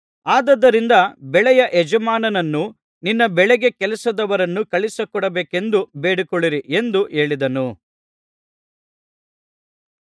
ಆದುದರಿಂದ ಬೆಳೆಯ ಯಜಮಾನನನ್ನು ನಿನ್ನ ಬೆಳೆಗೆ ಕೆಲಸದವರನ್ನು ಕಳುಹಿಸಿಕೊಡಬೇಕೆಂದು ಬೇಡಿಕೊಳ್ಳಿರಿ ಎಂದು ಹೇಳಿದನು